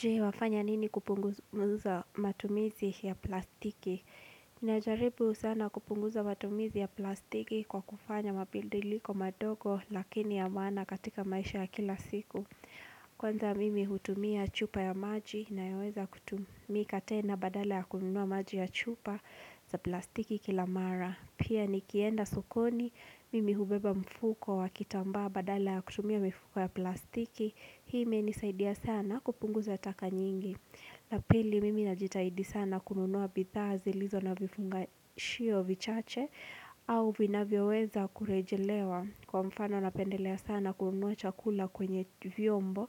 Je wafanya nini kupunguza matumizi ya plastiki? Ninajaribu sana kupunguza matumizi ya plastiki kwa kufanya mabadiliko madogo lakini ya maana katika maisha ya kila siku. Kwanza mimi hutumia chupa ya maji inayaweza kutumika tena badala ya kununua maji ya chupa za plastiki kila mara. Pia nikienda sokoni mimi hubeba mfuko wa kitambaa badala ya kutumia mifuko ya plastiki. Hii imenisaidia sana kupunguza taka nyingi la pili mimi najitahidi sana kununua bidhaa zilizo na vifungashio vichache au vinavyoweza kurejelewa kwa mfano napendelea sana kununua chakula kwenye vyombo